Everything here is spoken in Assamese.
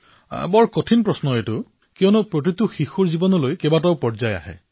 প্ৰধানমন্ত্ৰীঃ এয়াতো এক কঠিন প্ৰশ্ন কাৰণ প্ৰতিজন শিশুৰ জীৱনলৈ বহু পৰ্যায় আহে